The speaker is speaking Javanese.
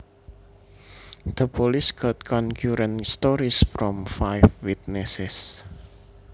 The police got concurrent stories from five witnesses